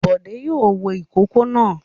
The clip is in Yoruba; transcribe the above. Bọ̀dé yóò wo ìkókó náà.